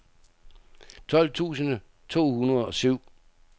tolv tusind to hundrede og syv